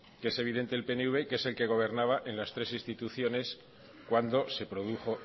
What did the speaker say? que es evidente el pnv y que es el que gobernaba en las tres instituciones cuando se produjo